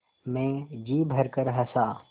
मैं जी भरकर हँसा